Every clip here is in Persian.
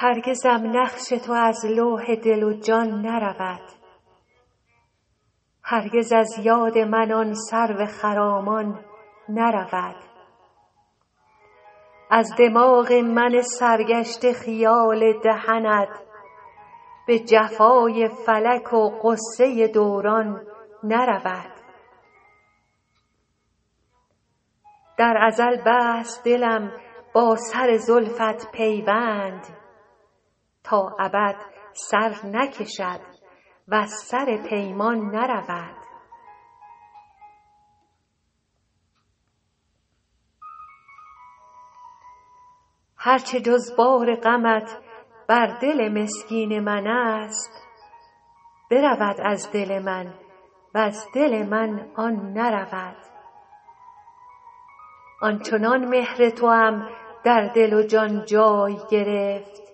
هرگزم نقش تو از لوح دل و جان نرود هرگز از یاد من آن سرو خرامان نرود از دماغ من سرگشته خیال دهنت به جفای فلک و غصه دوران نرود در ازل بست دلم با سر زلفت پیوند تا ابد سر نکشد وز سر پیمان نرود هر چه جز بار غمت بر دل مسکین من است برود از دل من وز دل من آن نرود آن چنان مهر توام در دل و جان جای گرفت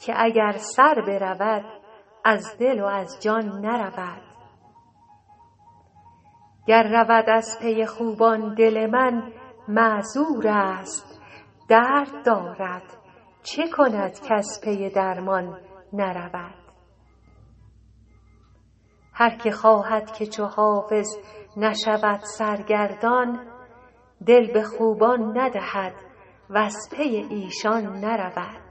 که اگر سر برود از دل و از جان نرود گر رود از پی خوبان دل من معذور است درد دارد چه کند کز پی درمان نرود هر که خواهد که چو حافظ نشود سرگردان دل به خوبان ندهد وز پی ایشان نرود